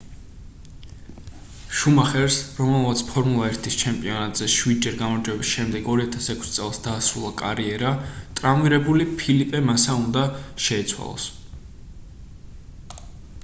შუმახერს რომელმაც ფორმულა 1-ის ჩემპიონატზე შვიდჯერ გამარჯვების შემდეგ 2006 წელს დაასრულა კარიერა ტრავმირებული ფელიპე მასა უნდა შეეცვალა